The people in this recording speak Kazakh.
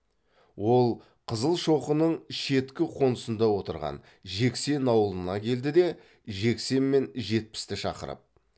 ол қызылшоқының шеткі қонысында отырған жексен ауылына келді де жексен мен жетпісті шақырып